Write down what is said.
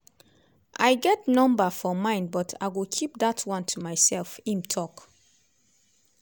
"i get number for mind but i go keep dat one to myself” im tok.